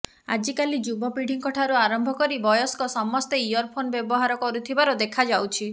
ଆଜିକାଲି ଯୁବପିଢିଙ୍କ ଠାରୁ ଆରମ୍ଭ କରି ବୟସ୍କ ସମସ୍ତେ ଇୟରଫୋନ୍ ବ୍ୟବହାର କରୁଥିବାର ଦେଖାଯାଉଛି